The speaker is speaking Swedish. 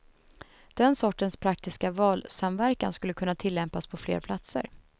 Den sortens praktiska valsamverkan skulle kunna tillämpas på fler platser.